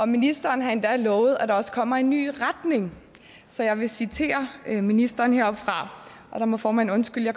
ministeren har endda lovet at der også kommer en ny retning så jeg vil citere ministeren heroppefra og der må formanden undskylde at